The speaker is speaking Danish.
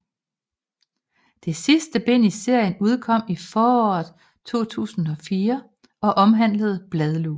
Det sidste bind i serien udkom i foråret 2004 og omhandlede bladlus